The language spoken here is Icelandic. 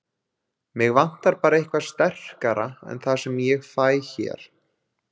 Mig vantar bara eitthvað sterkara en það sem ég fæ hér.